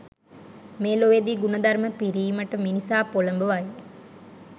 මේ ලොවේදී ගුණධර්ම පිරීමට මිනිසා පොළඹවයි.